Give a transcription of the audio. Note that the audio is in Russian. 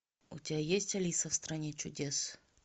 у тебя есть алиса в стране чудес